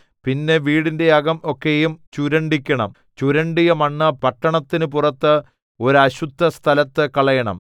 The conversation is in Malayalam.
പിന്നെ വീടിന്റെ അകം ഒക്കെയും ചുരണ്ടിക്കണം ചുരണ്ടിയ മണ്ണ് പട്ടണത്തിന് പുറത്ത് ഒരു അശുദ്ധസ്ഥലത്തു കളയണം